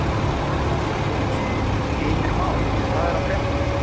Telma Tómasson: Heimir Már, hvað er að frétta?